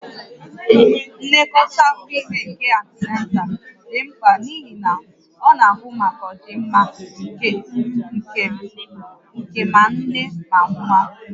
Nlekọta afọ ime nke antinatal dị mkpa n'ihi na ọ na-ahụ maka ọdịmma nke ma nne na nwa